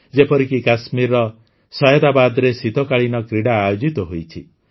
ଯେପରିକି କାଶ୍ମୀରର ସୟଦାବାଦରେ ଶୀତକାଳୀନ କ୍ରୀଡ଼ା ଆୟୋଜିତ ହୋଇଛି